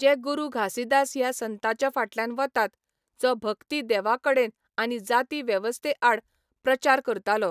जे गुरू घासीदास ह्या संताच्या फाटल्यान वतात, जो भक्ति देवाकडेन आनी जाती वेवस्थे आड प्रचार करतालो.